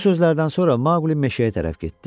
Bu sözlərdən sonra Maoqli meşəyə tərəf getdi.